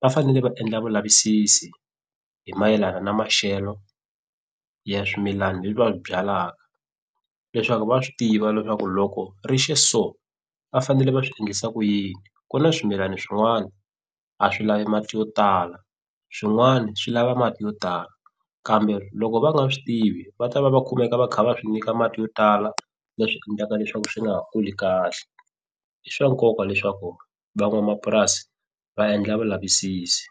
va fanele va endla vulavisisi hi mayelana na maxelo ya swimilana leswi va swi byalaka leswaku va swi tiva leswaku loko rixe so va fanele va swi ndlisa ku yini ku na swimilani swin'wani a swi lavi mati yo tala swin'wana swi lava mati yo tala kambe loko va nga swi tivi va ta va va kumeka va kha va swi nyika mati yo tala leswi endlaka leswaku swi nga kuli kahle i swa nkoka leswaku van'wamapurasi va endla vulavisisi.